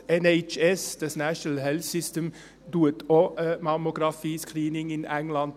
Der NHS bietet in England auch Mammographie-Screenings an.